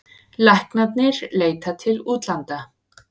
Læknarnir leita til útlanda